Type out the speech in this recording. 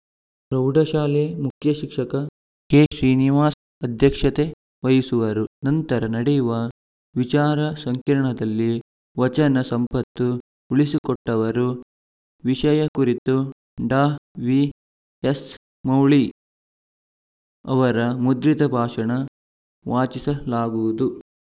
ಪ್ರೌಢಶಾಲೆ ಮುಖ್ಯ ಶಿಕ್ಷಕ ಕೆಶ್ರೀನಿವಾಸ್‌ ಅಧ್ಯಕ್ಷತೆ ವಹಿಸುವರು ನಂತರ ನಡೆಯುವ ವಿಚಾರ ಸಂಕಿರಣದಲ್ಲಿ ವಚನ ಸಂಪತ್ತು ಉಳಿಸಿಕೊಟ್ಟವರು ವಿಷಯ ಕುರಿತು ಡಾವಿಎಸ್‌ಮೌಳಿ ಅವರ ಮುದ್ರಿತ ಭಾಷಣ ವಾಚಿಸಲಾಗುವುದು